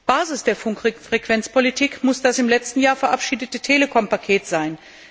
Basis der Funkfrequenzpolitik muss das im letzten Jahr verabschiedete Telekom Paket sein.